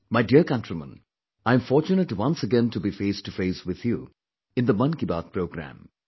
My dear countrymen, I'm fortunate once again to be face to face with you in the 'Mann Ki Baat' programme